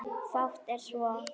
Fátt er svo.